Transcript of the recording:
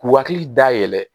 K'u hakili dayɛlɛ